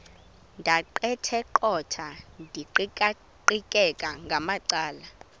ndaqetheqotha ndiqikaqikeka ngamacala